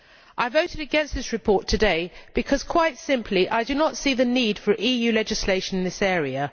I voted against this report today because, quite simply, I do not see the need for EU legislation in this area.